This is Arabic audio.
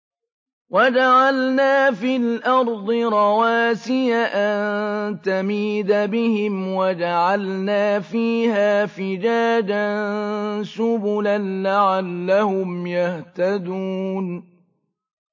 وَجَعَلْنَا فِي الْأَرْضِ رَوَاسِيَ أَن تَمِيدَ بِهِمْ وَجَعَلْنَا فِيهَا فِجَاجًا سُبُلًا لَّعَلَّهُمْ يَهْتَدُونَ